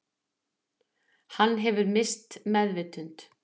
Hann hefði misst meðvitund